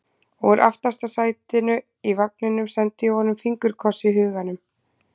Og úr aftasta sætinu í vagninum sendi ég honum fingurkoss í huganum.